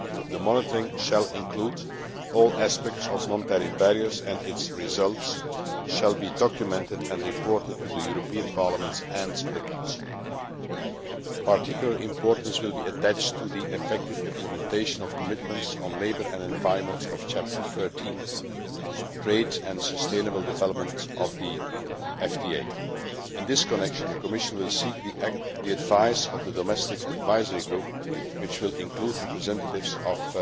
The monitoring shall include all aspects of non tariff barriers and its results shall be documented and reported to the European Parliament and the Council. Particular importance will be attached to the effective implementation of commitments on labour and environment of Chapter 13 Trade and Sustainable Development of the FTA. In this connection, the Commission will seek the advice of the Domestic Advisory Group, which will include representatives